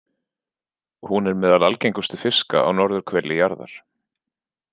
Hún er meðal algengustu fiska á norðurhveli jarðar.